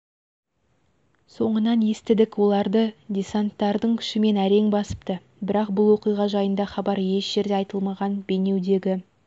соңынан естідік оларды десанттардың күшімен әрең басыпты бірақ бұл оқиға жайында хабар еш жерде айытылмаған бейнеудегі